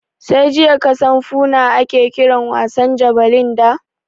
Sai jiya kasan Foona ake kiran wasan jabelin da?